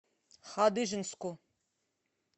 хадыженску